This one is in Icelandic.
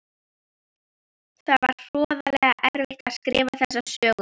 Það var hroðalega erfitt að skrifa þessa sögu.